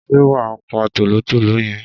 ṣé wà á pa tòlótòló yẹn?